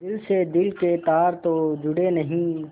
दिल से दिल के तार तो जुड़े नहीं